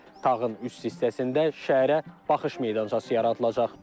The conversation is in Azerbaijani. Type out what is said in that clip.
Tağın üst hissəsində şəhərə baxış meydançası yaradılacaq.